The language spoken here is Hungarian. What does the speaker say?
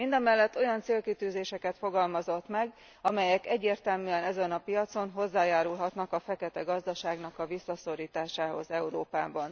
Mindemellett olyan célkitűzéseket fogalmazott meg, amelyek egyértelműen ezen a piacon hozzájárulhatnak a feketegazdaságnak a visszaszorításához Európában.